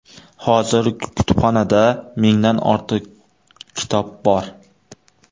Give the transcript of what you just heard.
Hozir kutubxonada mingdan ortiq kitob bor.